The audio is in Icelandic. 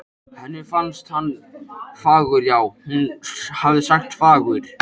Henni fannst hann fagur já, hún hafði sagt fagur!